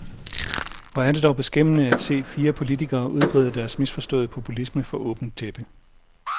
Hvor er det dog beskæmmende at se fire politikere udbrede deres misforståede populisme for åben tæppe.